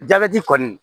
kɔni